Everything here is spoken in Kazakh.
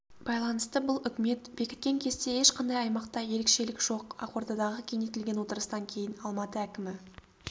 байланысты бұл үкімет бекіткен кесте ешқандай аймақта ерекшелік жоқ ақордадағы кеңейтілген отырыстан кейін алматы әкімі